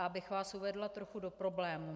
A abych vás uvedla trochu do problému.